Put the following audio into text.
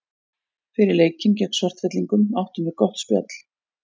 Fyrir leikinn gegn Svartfellingum áttum við gott spjall.